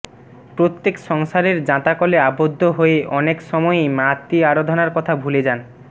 প্রত্যেকের সংসারের যাঁতাকলে আবদ্ধ হয়ে অনেক সময়েই মাতৃ আরাধনার কথা ভুলে যান